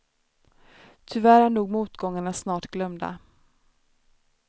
Tyvärr är nog motgångarna snart glömda.